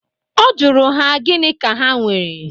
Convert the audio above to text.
Ọ jụrụ ha gịnị ka ha nwere.